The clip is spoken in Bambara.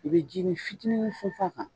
I be jinin fitinin funfun a kan.